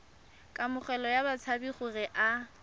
kamogelo ya batshabi gore a